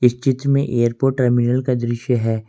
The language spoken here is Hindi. इस चित्र में एयरपोर्ट टर्मिनल का दृश्य है।